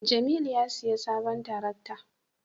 jamilu a siya sabon tarakta